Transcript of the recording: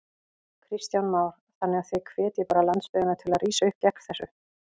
Kristján Már: Þannig að þið hvetjið bara landsbyggðina til að rísa upp gegn þessu?